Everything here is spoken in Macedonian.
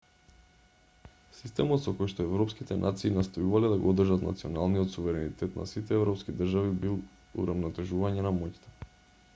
системот со којшто европските нации настојувале да го одржат националниот суверенитет на сите европски држави бил урамнотежување на моќта